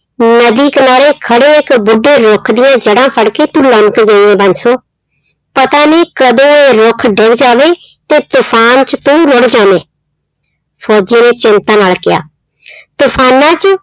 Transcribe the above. ਨਦੀ ਕਿਨਾਰੇ ਖੜੇ ਇੱਕ ਬੁੱਢੇ ਰੁੱਖ ਦੀਆਂ ਜੜ੍ਹਾਂ ਫੜ ਕੇ ਤੂੰ ਲਮਕ ਗਈ ਹੈ ਬਾਂਸੋ, ਪਤਾ ਨੀ ਕਦੋਂ ਉਹ ਰੁੱਖ ਡਿੱਗ ਜਾਵੇ ਤੇ ਤੂਫ਼ਾਨ 'ਚ ਤੂੰ ਰੁੱੜ ਜਾਵੇਂ, ਫ਼ੋਜ਼ੀ ਨੇ ਚਿੰਤਾ ਨਾਲ ਕਿਹਾ ਤੂਫ਼ਾਨਾਂ 'ਚ